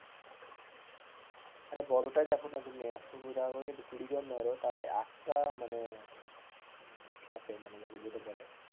আরে বড়টায় দেখো না তুমি একশ কুড়ি কুড়ি জন ধরো একটা মানে খাপে যেটা বলে,